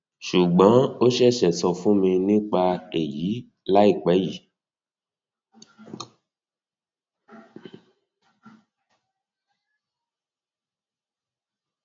sùgbọn ó ṣẹṣẹ sọ fún mi nípa èyí láìpẹ yìí